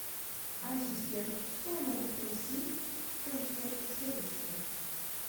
ассистент что я могу просить в консьерж сервисе